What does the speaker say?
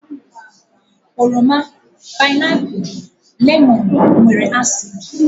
Oroma, painapu, lemon wdg nwere acid.